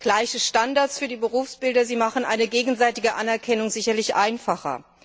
Gleiche Standards für die Berufsbilder machen eine gegenseitige Anerkennung sicherlich einfacher.